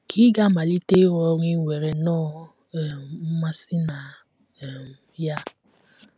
Ka ị̀ ga - amalite ịrụ ọrụ i nwere nnọọ um mmasị na um ya? um